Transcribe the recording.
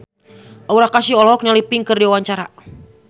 Aura Kasih olohok ningali Pink keur diwawancara